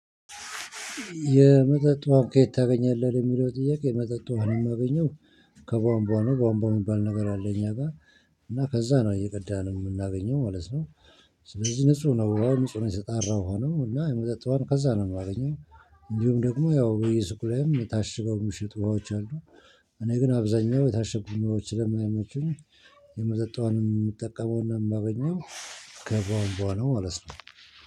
የመጠጥ ውሃን ከየት ታገኛለህ? የሚለው ጥያቄ የመጠጥ ውሃንም አገኘው ከቧንቧ ነው። ቧንቧ የሚባል ነገር አለ እኛ ጋር። እና ከዛ ነው እየቀዳን የምናገኘው ማለት ነው። ስለዚህ ንጹህ ነው፣ ንጹህ ነው የጠራ ውሃ ነው እና የመጠጥ ውሃን ከዛ ነው የማገኘው። እንዲሁም ደግሞ ያው በየሱቁ ላይም የታሽገው ምሽጥ ውሃዎች አሉ። እኔ ግን አብዛኛው የታሸጉ ውሃዎች ስለማይመችኝ የመጠጥ ውሃን የምጠቀመውና እማገኘው ከቧንቧ ነው ማለት ነው።